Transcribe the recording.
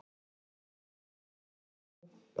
Hann var að sækja ljá.